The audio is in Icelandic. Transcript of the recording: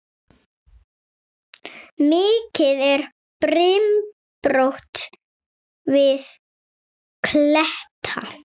Mikið er brimrót við kletta.